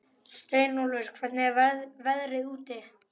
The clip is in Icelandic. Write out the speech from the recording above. Steinólfur, hvernig er veðrið úti?